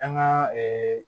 An ka